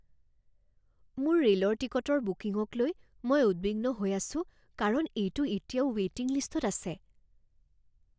মোৰ ৰে'লৰ টিকটৰ বুকিঙক লৈ মই উদ্বিগ্ন হৈ আছো কাৰণ এইটো এতিয়াও ৱে'টিং লিষ্টত আছে।